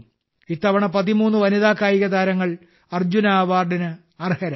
ഇത്തവണ 13 വനിതാ കായികതാരങ്ങൾ അർജുന അവാർഡിന് അർഹരായി